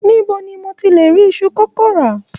Nibo ni mo ti le ri isu kókó ra?